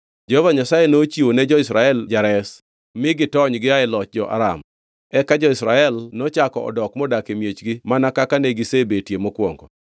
Jehova Nyasaye nochiwo ne jo-Israel jares, mi gitony gia e loch jo-Aram. Eka jo-Israel nochako odok modak e miechgi mana kaka ne gisebetie mokwongo.